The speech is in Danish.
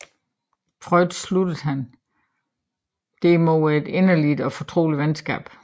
Freund sluttede han derimod et inderligt og fortroligt venskab